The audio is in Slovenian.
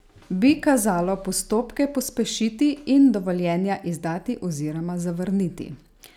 Bi kazalo postopke pospešiti in dovoljenja izdati oziroma zavrniti?